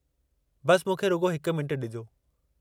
बसि मूंखे रुॻो हिकु मिंटु ॾिजो।